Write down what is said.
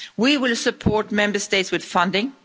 We will support Member States with funding.